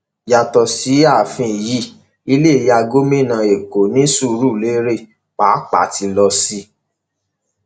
yàtọ sí ààfin yìí ilé ìyá gómìnà èkó ní sùúrùlérè pàápàá ti lọ sí i